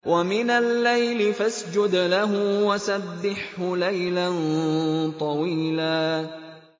وَمِنَ اللَّيْلِ فَاسْجُدْ لَهُ وَسَبِّحْهُ لَيْلًا طَوِيلًا